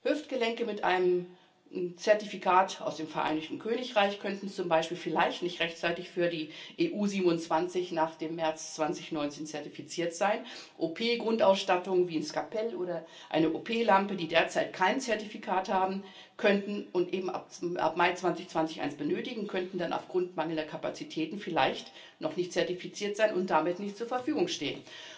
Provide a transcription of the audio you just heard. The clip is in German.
Hüftgelenke mit einem Zertifikat aus dem Vereinigten Königreich könnten zum Beispiel vielleicht nicht rechtzeitig für die EU 27 nach dem März 2019 zertifiziert sein, OP Grundausstattung wie ein Skalpell oder eine OP Lampe, die derzeit kein Zertifikat haben und eben ab Mai 2020 eines benötigen, könnten dann aufgrund mangelnder Kapazitäten vielleicht noch nicht zertifiziert sein und damit nicht zur Verfügung stehen.